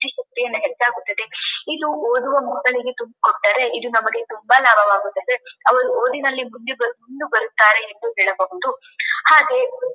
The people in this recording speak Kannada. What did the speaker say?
ಇದು ಓದುವ ಮಕ್ಕಳಿಗೆ ತುಂಬಿಕೊಟ್ಟರ ಇದು ನಮಗೆ ತುಂಬಾ ಲಾಭವಾಗುತ್ತದೆ ಅವರು ಓದಿನಲ್ಲಿ ಮುಂದೆ ಮುಂದುಬರುತ್ತಾರೆ ಎಂದು ಹೇಳಬಹುದು ಹಾಗೆ--